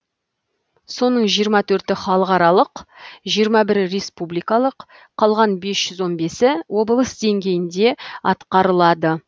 соның жиырма төрті халықаралық жиырма бірі республикалық қалған бес жүз он бесі облыс деңгейінде атқарылады